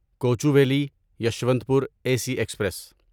Kochuveli Yesvantpur A C express